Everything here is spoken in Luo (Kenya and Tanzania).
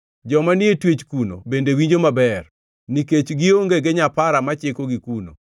Joma ni e twech kuno bende winjo maber; nikech gionge gi nyapara ma chikogi kuno.